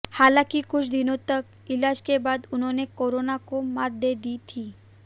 हालांकि कुछ दिनों तक इलाज के बाद उन्होंने कोरोना को मात दे दी थी